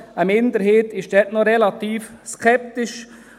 Eine Minderheit ist dort noch relativ skeptisch.